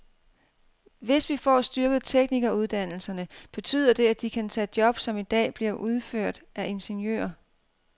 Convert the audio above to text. Hvis vi får styrket teknikeruddannelserne, betyder det, at de kan tage job, som i dag bliver udført af ingeniører.